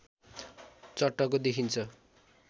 चट्टको देखिन्छ